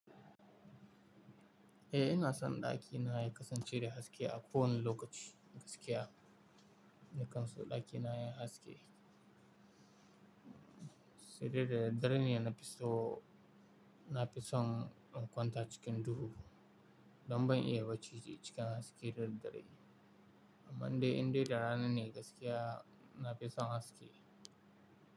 Eh ina son ɗakina ya kasance da haske a ko wane lokaci gaskiya. Ni kan son ɗakina yana haske. Sai dai daddare ne na fi so, na fi son in kwanta cikin duhu. Dan ban iya baci sai cikin haske da daddare. Amma dai in dai da ranane gaskiya na fi son haske.